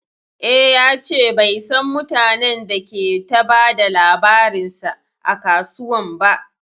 E, ya ce bai san mutanen da ke ta ba da labarinsa a kasuwan ba.